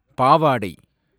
பாவாடை